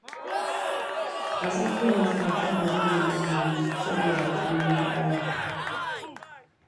A tsakiyar wata sai abin da muka gani, saboda kuɗi ya ƙare